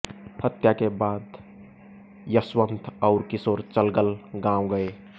हत्या के बाद यश्वंत और किशोर चलगल गांव गये